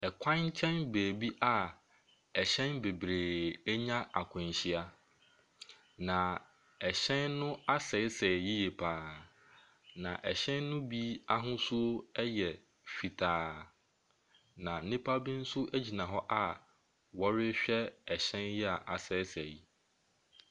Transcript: Ɛkwan nkyɛn baabi a ɛhyɛn bebree anya akwanhyia. Na ɛhyɛn no asɛesɛe yie pa ara, na ɛhyɛn no bi ahosuo yɛ fitaa, na nnipa bi nso gyina hɔ a wɔrehwɛ ɛhyɛn yi a asɛesɛe yi.